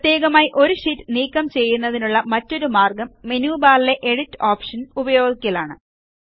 പ്രത്യേകമായ ഒരു ഷീറ്റ് നീക്കം ചെയ്യുന്നതിനുള്ള മറ്റൊരു മാർഗ്ഗം മെനു ബാറിലെ എഡിറ്റ് ഓപ്ഷൻ ഉപയോഗിക്കലാണ്